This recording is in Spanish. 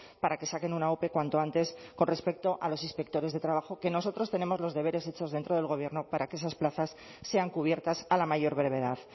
para que saquen una ope cuanto antes con respecto a los inspectores de trabajo que nosotros tenemos los deberes hechos dentro del gobierno para que esas plazas sean cubiertas a la mayor brevedad